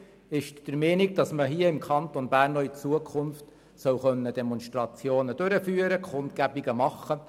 Die Kommissionsmehrheit ist der Meinung, dass man hier im Kanton Bern auch in Zukunft Demonstrationen durchführen können soll.